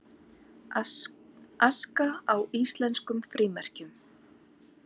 Aska á íslenskum frímerkjum